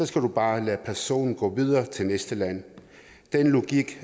skal du bare lade personen gå videre til næste land den logik